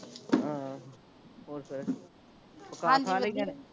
ਹਾਂ ਹੋਰ ਫੇਰ